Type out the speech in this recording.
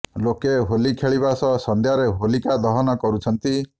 ଲୋକେ ହୋଲି ଖେଳିବା ସହ ସନ୍ଧ୍ୟାରେ ହୋଲିକା ଦହନ କରୁଛନ୍ତି